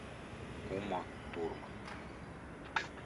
ума турман